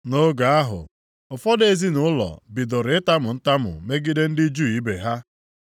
Nʼoge ahụ, ụfọdụ ezinaụlọ bidoro itamu ntamu megide ndị Juu ibe ha.